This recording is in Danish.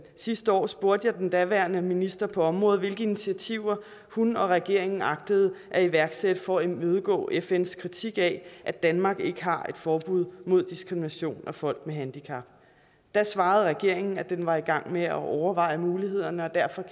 sidste år spurgte jeg den daværende minister på området hvilke initiativer hun og regeringen agtede at iværksætte for at imødegå fns kritik af at danmark ikke har et forbud mod diskrimination af folk med handicap da svarede regeringen at den var i gang med at overveje mulighederne og derfor